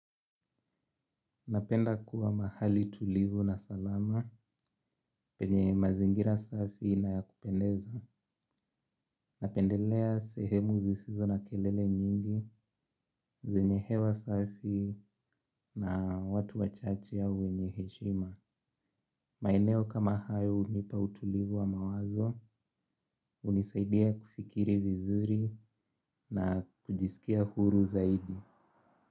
Napenda kuwa mahali tulivu na salama penye mazingira safi na ya kupendeza. Napendelea sehemu zisizo na kelele nyingi, zenye hewa safi na watu wachache au wenye heshima. Maeneo kama hayo hunipa utulivu wa mawazo, hunisaidia kufikiri vizuri na kujisikia huru zaidi.